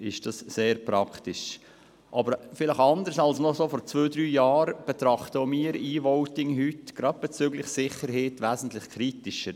Anders als noch vor zwei oder drei Jahren betrachten wir EVoting heute, gerade bezüglich der Sicherheit, wesentlich kritischer.